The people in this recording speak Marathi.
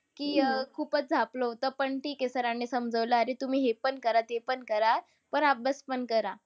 की अह खूपच झापलं होतं. पण ठीक आहे. Sir नि समजावलं की अरे तुम्ही हे पण करा ते पण करा. पण अभ्यास पण करा.